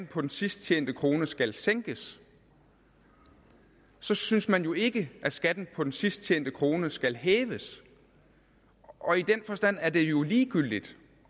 på den sidst tjente krone skal sænkes så synes man jo ikke at skatten på den sidst tjente krone skal hæves og i den forstand er det jo ligegyldigt